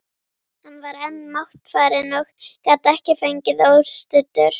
Hann var enn máttfarinn og gat ekki gengið óstuddur.